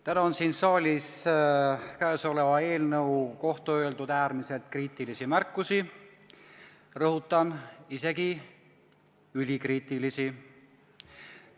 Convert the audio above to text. Täna on siin saalis tehtud käesoleva eelnõu kohta äärmiselt kriitilisi märkusi, rõhutan, et isegi ülikriitilisi.